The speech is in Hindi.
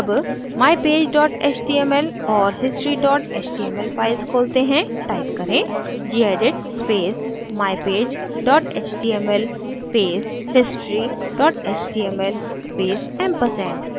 अब mypage html और history html files खोलते हैं टाइप करें gedit space mypage html space history html space ampersand